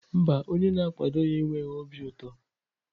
Mba, onye na-akwado ya enweghị obi ụtọ.